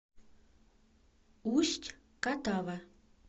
усть катава